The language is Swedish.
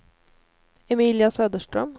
Emilia Söderström